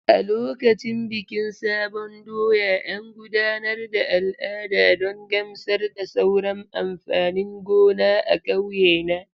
A lokacin bikin sabon doya, an gudanar da al'ada don gamsar da sauran amfanin gona a ƙauye na.